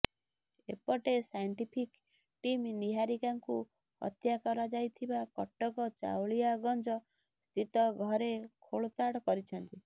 ଏପଟେ scientific team ନିହାରିକାଙ୍କୁ ହତ୍ୟା କରାଯାଇଥିବା କଟକ ଚାଉଳିଆଗଞ୍ଜ ସ୍ଥିତ ଘରେ ଖୋଳତାଡ କରିଛନ୍ତି